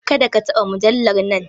Kada ka taba mujallar nan!